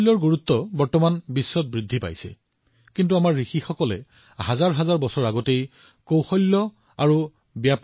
যদিও আজি পৃথিৱীত এক নতুন ধৰণে দক্ষতা চিনাক্ত কৰা হৈছে আমাৰ ঋষিসকলে হাজাৰ হাজাৰ বছৰ ধৰি দক্ষতা আৰু পৰিমাণৰ ওপৰত গুৰুত্ব আৰোপ কৰিছে